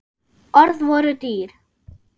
Orð voru dýr.